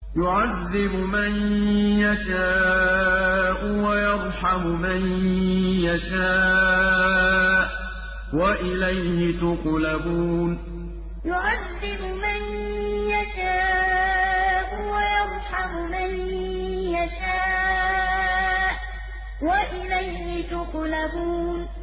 يُعَذِّبُ مَن يَشَاءُ وَيَرْحَمُ مَن يَشَاءُ ۖ وَإِلَيْهِ تُقْلَبُونَ يُعَذِّبُ مَن يَشَاءُ وَيَرْحَمُ مَن يَشَاءُ ۖ وَإِلَيْهِ تُقْلَبُونَ